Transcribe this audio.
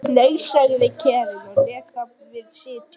Nei, sagði Karen og lét þar við sitja.